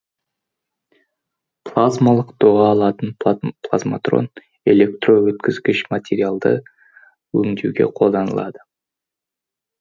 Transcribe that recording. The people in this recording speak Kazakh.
плазмалық доға алатын плазматрон электрөткізгіш материалдарды өңдеуге қолданылады